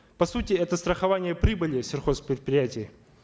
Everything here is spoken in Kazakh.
по сути это страхование прибыли сельхозпредприятий